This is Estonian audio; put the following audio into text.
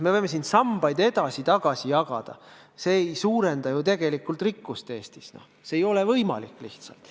Me võime siin sambaid edasi-tagasi jagada, aga see ei suurenda ju rikkust Eestis – see ei ole lihtsalt võimalik.